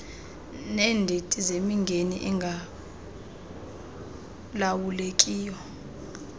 neendidi zemingeni engalawulekiyo